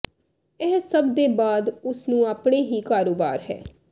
ਇਹ ਸਭ ਦੇ ਬਾਅਦ ਉਸ ਨੂੰ ਆਪਣੇ ਹੀ ਕਾਰੋਬਾਰ ਹੈ